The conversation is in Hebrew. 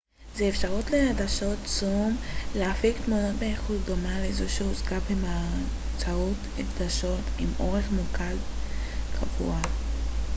זה אפשר לעדשות זום להפיק תמונות באיכות דומה לזו שהושגה באמצעות עדשות עם אורך מוקד קבוע